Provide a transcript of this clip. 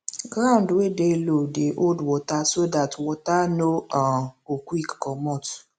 ground wey dey low dey hold water so that water no um go quick comot